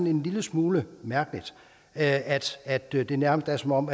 en lille smule mærkeligt at at det det nærmest er som om